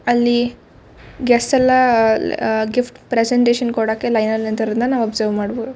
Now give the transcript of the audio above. ಅಲ್ಲಿ ಗೆಸ್ಟ್ ಎಲ್ಲಾ uh gift presentation ಕೊಡಕೆ ಲೈನ್ ಅಲ್ಲಿ ನಿಂತಿರೋದನ್ನ ನಾವು ಒಬ್ಸರ್ವ್ ಮಾಡಬಹುದು.